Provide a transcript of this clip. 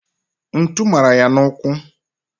Ntu mara ya n'ụkwụ